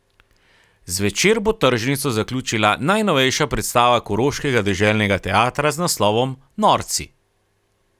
Zvečer bo tržnico zaključila najnovejša predstava Koroškega deželnega teatra z naslovom Norci.